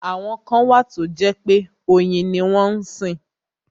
Àwọn kan wà tó jẹ́ pé oyin ni wọ́n sìn.